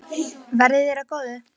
Verði þér að góðu.